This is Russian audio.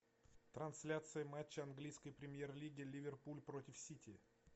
трансляция матча английской премьер лиги ливерпуль против сити